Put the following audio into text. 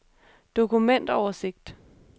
dokumentoversigt